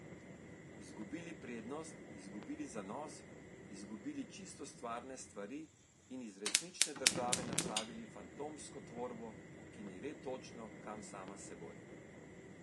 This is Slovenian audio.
Izgubili prednost, izgubili zanos, izgubili čisto stvarne stvari in iz resnične države napravili fantomsko tvorbo, ki ne ve točno, kam sama s seboj.